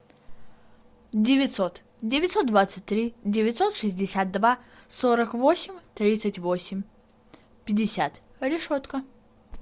девятьсот девятьсот двадцать три девятьсот шестьдесят два сорок восемь тридцать восемь пятьдесят решетка